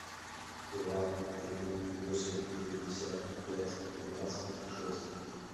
два три восемь шестьдесят пять двадцать шесть